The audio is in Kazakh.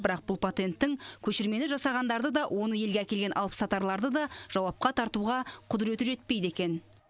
бірақ бұл патенттің көшірмені жасағандарды да оны елге әкелген алыпсатарларды да жауапқа тартуға құдіреті жетпейді екен